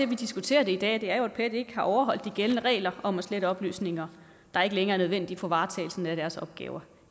vi diskuterer det i dag er jo at pet ikke har overholdt de gældende regler om at slette oplysninger der ikke længere er nødvendige for varetagelsen af deres opgaver